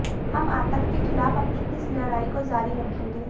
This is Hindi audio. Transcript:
हम आतंक के खिलाफ अपनी इस लड़ाई को जारी रखेंगे